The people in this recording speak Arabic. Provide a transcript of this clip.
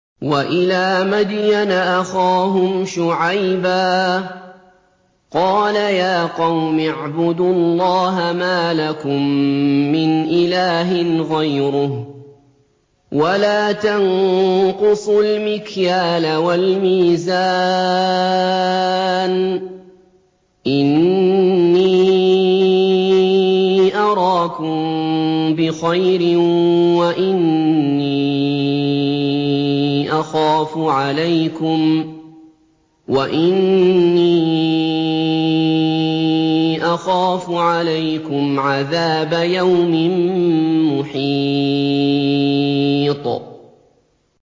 ۞ وَإِلَىٰ مَدْيَنَ أَخَاهُمْ شُعَيْبًا ۚ قَالَ يَا قَوْمِ اعْبُدُوا اللَّهَ مَا لَكُم مِّنْ إِلَٰهٍ غَيْرُهُ ۖ وَلَا تَنقُصُوا الْمِكْيَالَ وَالْمِيزَانَ ۚ إِنِّي أَرَاكُم بِخَيْرٍ وَإِنِّي أَخَافُ عَلَيْكُمْ عَذَابَ يَوْمٍ مُّحِيطٍ